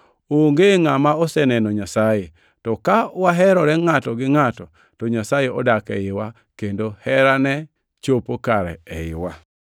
Onge ngʼama oseneno Nyasaye, to ka waherore ngʼato gi ngʼato to Nyasaye odak eiwa, kendo herane chopo kare eiwa.